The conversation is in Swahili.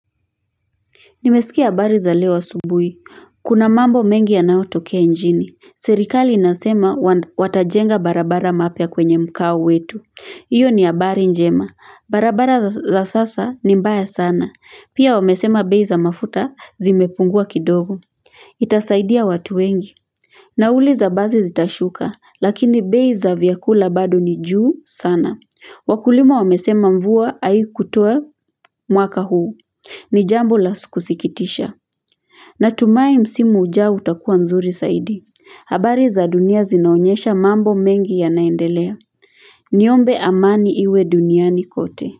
Nimesikia habari za leo asubuhi. Kuna mambo mengi yanaotokea inchini Serikali inasema watajenga barabara mapya kwenye mkao wetu. Iyo ni abari njema. Barabara za sasa ni mbaya sana. Pia wamesema bei za mafuta zimepungua kidogo. Itasaidia watu wengi. Nauli za basi zitashuka, lakini bei za vyakula bado ni juu sana. Wakulima wamesema mvua haiku kutoa mwaka huu. Ni jambo la sikusikitisha. Natumai msimu ujao utakuwa nzuri zaidi. Habari za dunia zinaonyesha mambo mengi yanaendelea. Niombe amani iwe duniani kote.